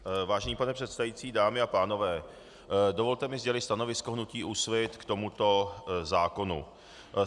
Vážený pane předsedající, dámy a pánové, dovolte mi sdělit stanovisko hnutí Úsvit k tomuto zákonu.